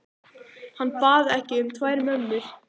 Hann bað ekki um tvær mömmur.